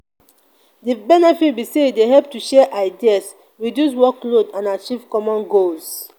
di benefits be say e dey help to share ideas reduce workload and achieve common goals.